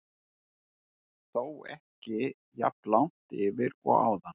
Þó ekki jafn langt yfir og áðan.